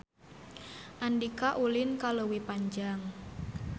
Andika ulin ka Leuwi Panjang